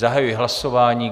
Zahajuji hlasování.